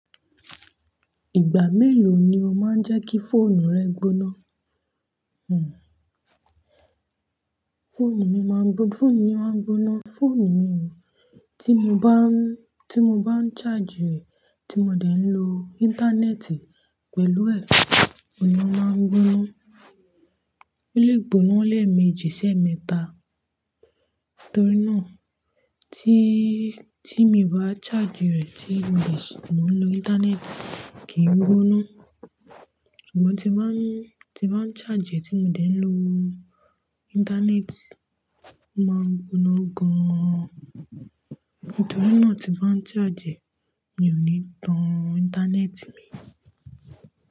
Ìgbà mélòó ni o máa ń jẹ́ kí fóònù rẹ gbóná? Hhm fónù mi máa ń gbo-fónù mi a máa ń gbóná. Fóònù mi o, tí mo bá ń, tí mo bá ń charge rẹ̀, tí mo dẹ̀ ń lo íńtánẹ́ẹ̀tì pẹ̀lú ẹ̀, òun ni o máa ń gbóná. Ó lè gbóná lẹ́ẹ̀mejì ṣẹ́ mẹ́ta. Nítorínà, tí, tí mi bá charge rẹ̀ tí mi sì ń lo íńtánẹ́ẹ̀tì kì í gbóná. Àmọ́ tí ń bá ń, tí bá ń charge rẹ̀ tí mo dẹ̀ ń lo íńtánẹ́ẹ̀tì, ó máa ń gbóná gan. Nítorínà tí bá ń charge, mi ò ní tan íńtánẹ́ẹ̀tì mi.